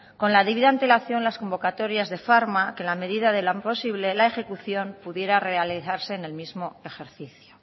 con la debida antelación las convocatorias de que en la medida de lo posible la ejecución pudiera realizarse en el mismo ejercicio